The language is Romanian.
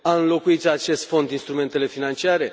A înlocuit acest fond instrumentele financiare?